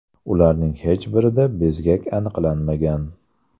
Ularning hech birida bezgak aniqlanmagan.